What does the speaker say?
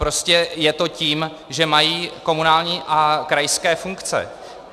Prostě je to tím, že mají komunální a krajské funkce.